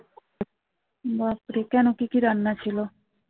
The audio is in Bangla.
কেন কি কি রান্না ছিল